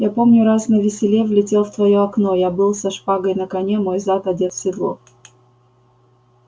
я помню раз навеселе влетел в твоё окно я был со шпагой на коне мой зад одет в седло